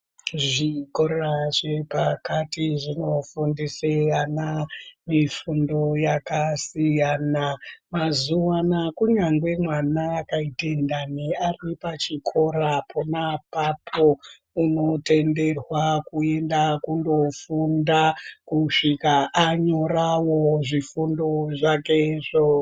Zvikora zvepakati zvinofundise vana mifundo yakasiyana mazuuwanaa kunyangwe mwana akaite ndani ari pachikora pona apapo unotenderwa kuenda kundofunda kusvika anyorawo zvifundo zvakezvo.